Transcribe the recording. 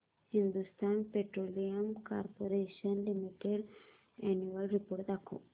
Hindustan petroleum corporation limited annual report दाखव